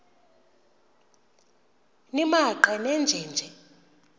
nimaqe nenje nje